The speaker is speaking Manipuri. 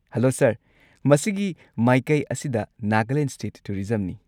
Hello sir! ꯃꯁꯤꯒꯤ ꯃꯥꯏꯀꯩ ꯑꯁꯤꯗ ꯅꯥꯒꯥꯂꯦꯟ ꯁ꯭ꯇꯦꯠ ꯇꯨꯔꯤꯖꯝꯅꯤ꯫